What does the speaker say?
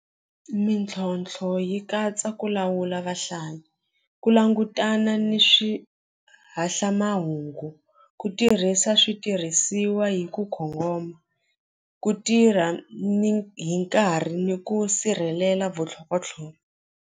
Mintlhontlho yi katsa ku lawula vahlayi ku langutana ni ku tirhisa switirhisiwa hi ku kongoma ku tirha ni hi nkarhi ni ku sirhelela .